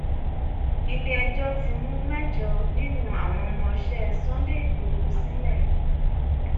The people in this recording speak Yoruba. ilé ẹjọ́ ti tú mẹ́jọ nínú àwọn ọmọọṣẹ́ sunday igbodò sílẹ